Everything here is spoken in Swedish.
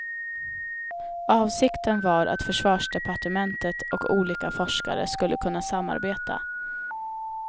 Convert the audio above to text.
Avsikten var att försvarsdepartementet och olika forskare skulle kunna samarbeta.